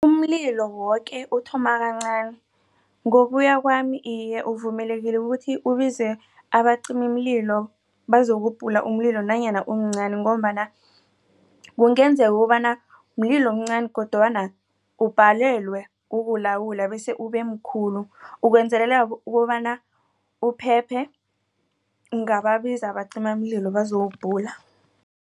Umlilo woke uthoma kancani ngokuya kwami iye uvumelekile kukuthi ubize abacimimlilo bazokubhula umlilo nanyana umncani ngombana kungenzeka kobana mlilo omncani kodwana ubhalelwe kukulawula bese ubemkhulu ukwenzelela ukobana uphephe kungabiza abacimamlilo bazowubhula.